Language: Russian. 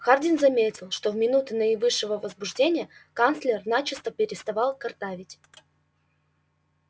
хардин заметил что в минуты наивысшего возбуждения канцлер начисто переставал картавить